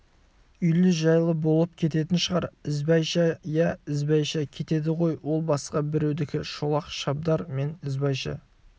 үйлі-жайлы болып кететін шығар ізбайша иә ізбайша кетеді ғой ол басқа біреудікі шолақ шабдар мен ізбайша